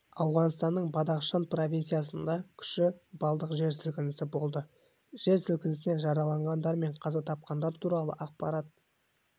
ауғанстанның бадахшан провинциясында күші балдық жер сілкінісі болды жер сілкінісінен жараланғандар мен қаза тапқандар туралы ақпарат